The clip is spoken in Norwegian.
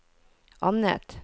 annet